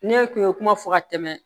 Ne tun ye kuma fɔ ka tɛmɛ